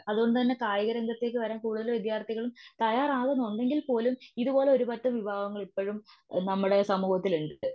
അതുകൊണ്ടുതന്നെ കായിക രംഗത്തേക്ക് വരാൻ കൂടുതൽ വിത്യാർത്ഥികളും തയ്യാർ ആവുന്നുണ്ടെകിൽ പോലും ഇതുപോലെ ഒരു പറ്റം വിഭാഗങ്ങൾ ഇപ്പഴും നമ്മുടെ സമൂഹത്തിലുണ്ട്.